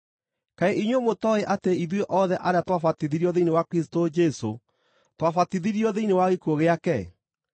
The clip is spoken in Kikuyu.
Kaĩ inyuĩ mũtooĩ atĩ ithuĩ othe arĩa twabatithirio thĩinĩ wa Kristũ Jesũ twabatithirio thĩinĩ wa gĩkuũ gĩake?